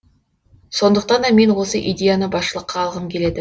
сондықтан да мен осы идеяны басшылыққа алғым келеді